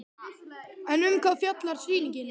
En um hvað fjallar sýningin?